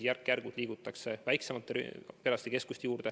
Järk-järgult liigutakse väiksemate perearstikeskuste juurde.